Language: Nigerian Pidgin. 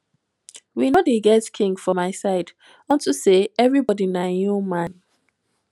we no dey get king for my side unto say everybody na im own man